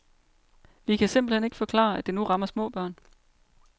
Vi kan simpelthen ikke forklare, at det nu rammer små børn.